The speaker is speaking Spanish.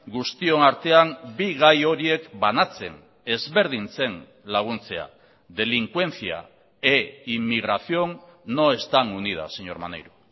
guztion artean bi gai horiek banatzen ezberdintzen laguntzea delincuencia e inmigración no están unidas señor maneiro